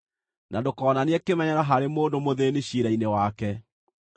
na ndũkonanie kĩmenyano harĩ mũndũ mũthĩĩni ciira-inĩ wake.